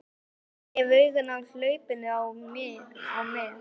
Ég hef augun á hlaupinu á með